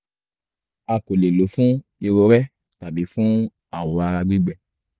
a kò lè lò ó fún irorẹ́ tàbí fún awọ ara gbígbẹ